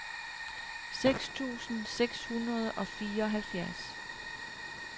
seks tusind seks hundrede og fireoghalvfjerds